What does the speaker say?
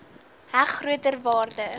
heg groter waarde